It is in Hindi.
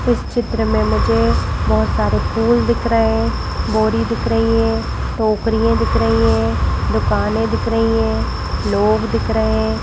इस चित्र में मुझे बहुत सारे फूल दिख रहे हैं बोरी दिख रही है टोकरियां दिख रही हैं दुकानें दिख रही हैं लोग दिख रहे हैं।